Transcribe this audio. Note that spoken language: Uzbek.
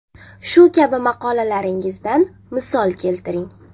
Shu kabi maqolalaringizdan misol keltiring.